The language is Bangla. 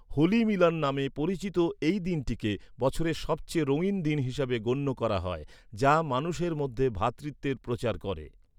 হোলি মিলন' নামে পরিচিত এই দিনটিকে বছরের সবচেয়ে রঙিন দিন হিসাবে গণ্য করা হয়, যা মানুষের মধ্যে ভ্রাতৃত্বের প্রচার করে।